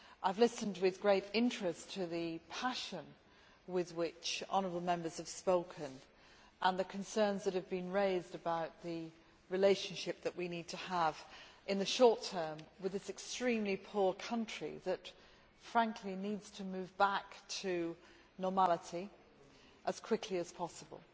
I have listened with great interest to the passion with which honourable Members have spoken and the concerns that have been raised about the relationship that we need to have in the short term with this extremely poor country that, frankly, needs to move back to normality as quickly as possible.